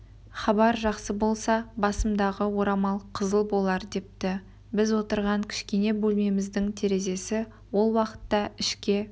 хабар жақсы болса басымдағы орамал қызыл болар депті біз отырған кішкентай бөлмеміздің терезесі ол уақытта ішке